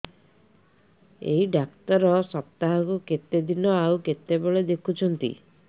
ଏଇ ଡ଼ାକ୍ତର ସପ୍ତାହକୁ କେତେଦିନ ଆଉ କେତେବେଳେ ଦେଖୁଛନ୍ତି